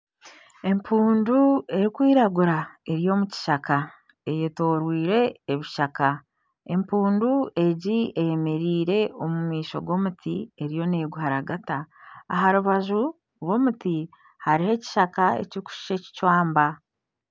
Omushaija ashutamire aha piki naaruga aha icundiro ry'amajuta, ondiijo omutsigazi akwatsire ekyoma ky'aha icundiro ry'amajuta naareeba ori aha piki, omukazi ayemereire ajwire sikaati erikwiragura enyima hariyo obutebe butekyereine hamwe nana emotoka.